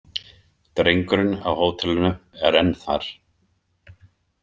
Drengurinn á hótelinu er enn þar.